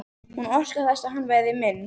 Hún óskar þess að hann verði minn.